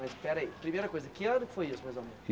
Mas peraí, primeira coisa, que ano foi isso, mais ou menos?